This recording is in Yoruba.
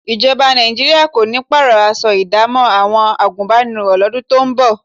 Ìjọba Nàìjíríà kò ní pààrọ̀ aṣọ ìdámọ̀ àwọn àgùnbánirọ̀ lọ́dún tó ń bọ̀